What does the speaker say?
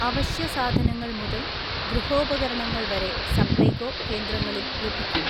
അവശ്യസാധനങ്ങൾ മുതൽ ഗൃഹോപകരണങ്ങൾ വരെ സപ്ലൈകോ കേന്ദ്രങ്ങളിൽ ലഭിക്കും.